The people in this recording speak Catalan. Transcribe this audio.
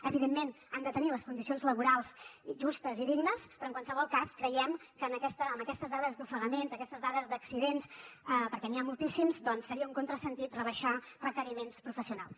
evidentment han de tenir les condicions laborals justes i dignes però en qualsevol cas creiem que amb aquestes dades d’ofegaments aquestes dades d’accidents perquè n’hi ha moltíssims doncs seria un contrasentit rebaixar requeriments professionals